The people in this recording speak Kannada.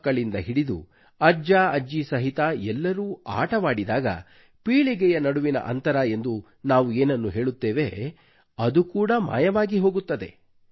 ಮಕ್ಕಳಿಂದ ಹಿಡಿದು ಅಜ್ಜಅಜ್ಜಿ ಸಹಿತ ಎಲ್ಲರೂ ಆಟವಾಡಿದಾಗ ಪೀಳಿಗೆಯ ನಡುವಿನ ಅಂತರ ಎಂದು ನಾವು ಏನನ್ನು ಹೇಳುತ್ತೇವೆ ಅದು ಕೂಡ ಮಾಯವಾಗಿ ಹೋಗುತ್ತದೆ